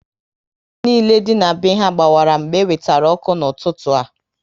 Bọlbụ niile dị na be ha gbawara mgbe e wetere ọkụ n'ụtụtụ a